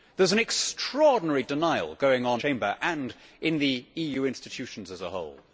There is an extraordinary denial going on in this Chamber and in the EU institutions as a whole.